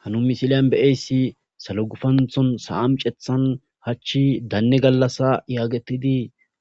Ha nuni missilen be'iyassi issi sallo guffanththon sa'a micceththan hachchi danne gallassa gettetidi